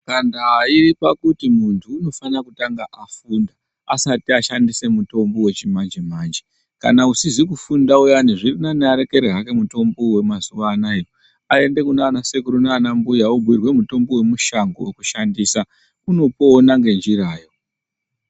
Antu ayipa kuti muntu unofana kutanga afunda asati ashandisa mutombo wechi manje manje kana usizi kufunda uyani zvirinani arekere hake mitombo wema zuva anaya ayende kunana sekuru nana mbuya obhuyirwe mutombo we mushango weku shandiswa unopona ne nzira yo.